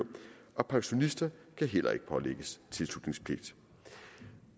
og pensionister kan heller ikke pålægges tilslutningspligt